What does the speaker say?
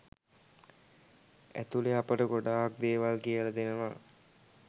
ඇතුලෙ අපට ගොඩක් දේවල් කියල දෙනව.